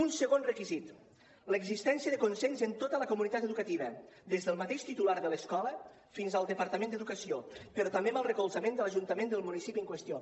un segon requisit l’existència de consens en tota la comunitat educativa des del mateix titular de l’escola fins al departament d’educació però també amb el recolzament de l’ajuntament del municipi en qüestió